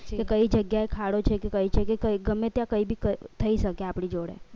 એ કઈ જગ્યાએ ખાડો છે કે કઈ છે કે ગમે ત્યાં કંઈ બી થઈ શકે આપડી જોડે